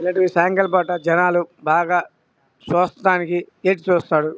ఇలాంటివి సాయంకాలం పూట జనాలు బాగా చూస్తానికి ఎట్టి చూస్తారు --